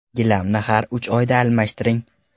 Gilamni har uch oyda almashtiring.